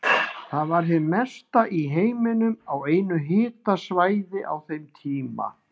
Það var hið mesta í heiminum á einu háhitasvæði á þeim tíma.